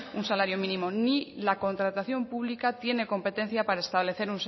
un salario mínimo ni la contratación pública tiene competencia para establecer